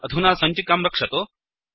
अधुना सञ्चिकां रक्षतु